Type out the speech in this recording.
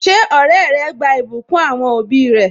Ṣé ọrẹ rẹ gba ìbùkún àwọn òbí rẹ?